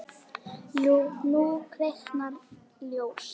Jú, nú kviknar ljós.